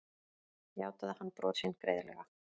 Játaði hann brot sín greiðlega